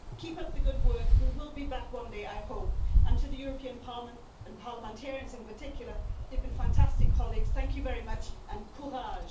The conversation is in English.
Keep up the good work. We will be back one day I hope and to the European Parliament and parliamentarians in particular, they've been fantastic colleagues, thank you very much and courage'